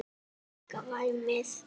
Og kannski líka væmið.